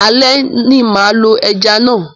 Ale ni mà á lo ẹja náà.